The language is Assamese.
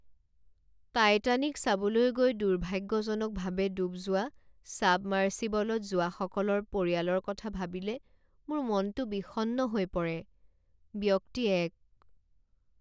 টাইটানিক চাবলৈ গৈ দুৰ্ভাগ্যজনকভাৱে ডুব যোৱা ছাবমাৰ্চিবলত যোৱাসকলৰ পৰিয়ালৰ কথা ভাবিলে মোৰ মনটো বিষণ্ণ হৈ পৰে। ব্যক্তি এক